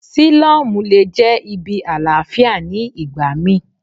Sílọ́mù le jẹ́ ibi àlàáfíà ní ìgbà mí.